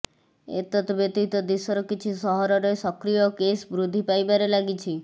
ଏତତ୍ ବ୍ୟତୀତ ଦେଶର କିଛି ସହରରେ ସକ୍ରିୟ କେସ୍ ବୃଦ୍ଧି ପାଇବାରେ ଲାଗିଛି